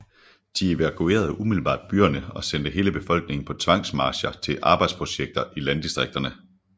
De evakuerede umiddelbart byerne og sendte hele befolkningen på tvangsmarcher til arbejdsprojekter i landdistrikterne